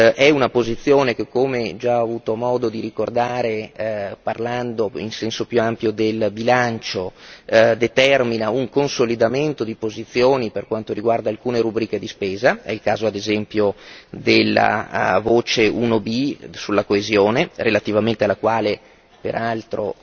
È una posizione che, come ho già avuto modo di ricordare parlando in senso più ampio del bilancio, determina un consolidamento di posizioni per quanto riguarda alcune rubriche di spesa è il caso ad esempio della voce 1b sulla coesione, relativamente alla quale peraltro